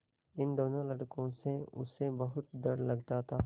इन दोनों लड़कों से उसे बहुत डर लगता था